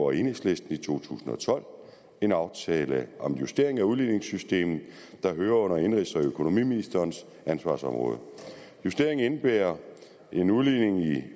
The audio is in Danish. og enhedslisten i to tusind og tolv en aftale om justering af udligningssystemet der hører under indenrigs og økonomiministerens ansvarsområde justeringen indebærer en udligning i